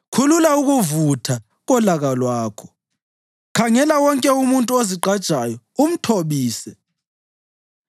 Khulula ukuvutha kolaka lwakho, khangela wonke umuntu ozigqajayo umthobise,